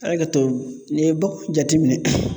A' ye kɛ to n'i ye bakɔ jatiminɛ